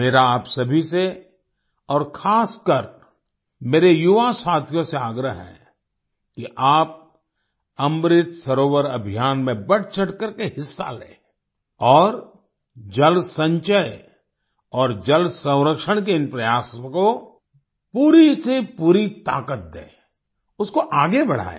मेरा आप सभी से और खास कर मेरे युवा साथियों से आग्रह है कि आप अमृत सरोवर अभियान में बढ़चढ़कर के हिस्सा लें और जल संचय और जलसंरक्षण के इन प्रयासों को पूरी की पूरी ताकत दें उसको आगे बढ़ायें